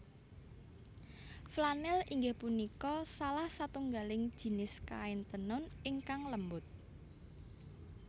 Flanèl inggih punika salah satunggaling jinis kain tenun ingkang lembut